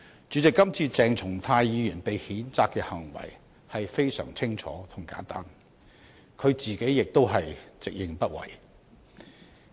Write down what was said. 主席，今次鄭松泰議員被譴責的行為非常清楚和簡單，他自己亦直認不諱。